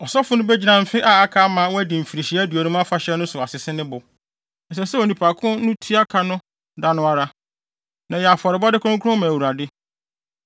ɔsɔfo no begyina mfe a aka ama wɔadi Mfirihyia Aduonum Afahyɛ no so asese ne bo. Ɛsɛ sɛ onipa ko no tua ka no da no ara, na ɛyɛ afɔrebɔde kronkron ma Awurade.